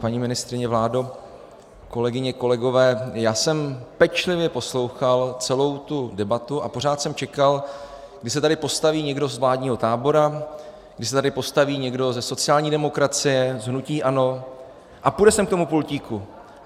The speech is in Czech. Paní ministryně, vládo, kolegyně, kolegové, já jsem pečlivě poslouchal celou tu debatu a pořád jsem čekal, kdy se tady postaví někdo z vládního tábora, kdy se tady postaví někdo ze sociální demokracie, z hnutí ANO a půjde sem k tomu pultíku.